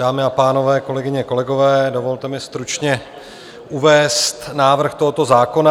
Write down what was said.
Dámy a pánové, kolegyně, kolegové, dovolte mi stručně uvést návrh tohoto zákona.